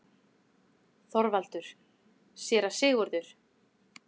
ÞORVALDUR: Séra Sigurður!